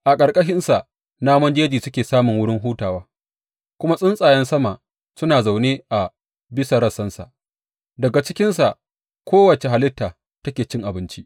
A ƙarƙashinsa namun jeji suke samun wurin hutawa, kuma tsuntsayen sama suna zaune a bisa rassansa; daga cikinsa kowace halitta take cin abinci.